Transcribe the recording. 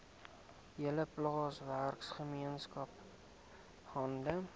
hele plaaswerkergemeenskap hande